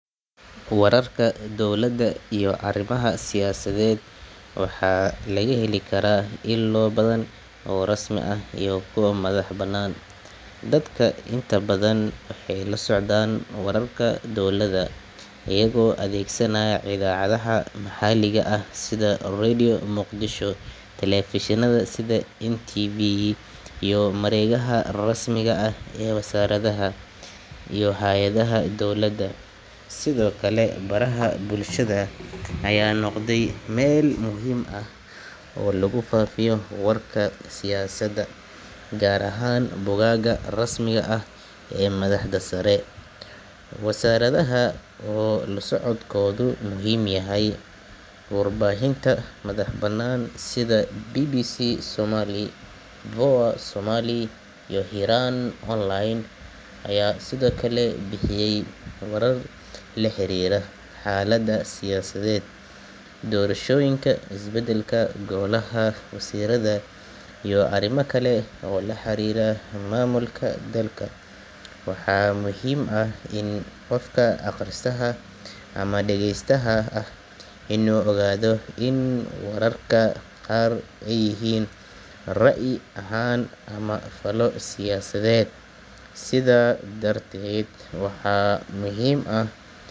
Wararka dowladda iyo arrimaha siyaasadeed waxaa laga heli karaa ilo badan oo rasmi ah iyo kuwo madax bannaan. Dadka inta badan waxay la socdaan wararka dowladda iyagoo adeegsanaya idaacadaha maxalliga ah sida Radio Muqdisho, telefishinada sida SNTV, iyo mareegaha rasmiga ah ee wasaaradaha iyo hay’adaha dowladda. Sidoo kale, baraha bulshada ayaa noqday meel muhiim ah oo lagu faafiyo wararka siyaasadda, gaar ahaan bogagga rasmiga ah ee madaxda sare iyo wasaaradaha oo la socodkoodu muhiim yahay. Warbaahinta madax bannaan sida BBC Somali, VOA Somali, iyo Hiiraan Online ayaa sidoo kale bixiya warar la xiriira xaalada siyaasadeed, doorashooyinka, is-bedelka golaha wasiirada iyo arrimo kale oo la xiriira maamulka dalka. Waxaa muhiim ah in qofka akhristaha ama dhageystaha ahi uu ogaado in wararka qaar ay yihiin ra’yi ahaan ama faallo siyaasadeed, sidaas darteed waxaa muhiim ah.